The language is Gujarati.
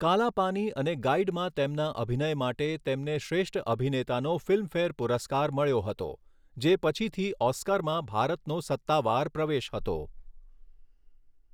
કાલા પાની અને ગાઇડમાં તેમના અભિનય માટે તેમને શ્રેષ્ઠ અભિનેતાનો ફિલ્મફેર પુરસ્કાર મળ્યો હતો, જે પછીથી ઓસ્કારમાં ભારતનો સત્તાવાર પ્રવેશ હતો.